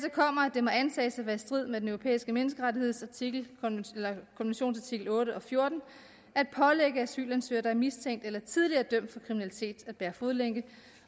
det må antages at være i strid med den europæiske menneskerettighedskonventions artikel otte og fjorten at pålægge asylansøgere der er mistænkt for eller tidligere dømt for kriminalitet at bære fodlænke